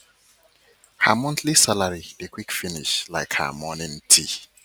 her monthly salary dey salary dey quick finish like her morning tea